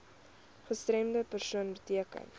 gestremde persoon beteken